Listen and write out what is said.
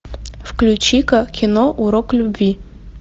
включи ка кино урок любви